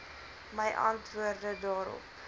my antwoorde daarop